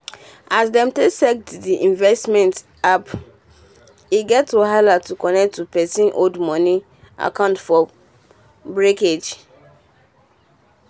as dem um take set the um investment appe get wahala to connect um to pesin old money account for brokerage.